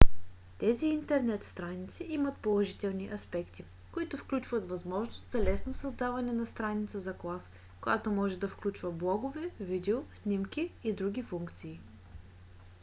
тези интернет страници имат положителни аспекти които включват възможност за лесно създаване на страница за клас която може да включва блогове видео снимки и други функции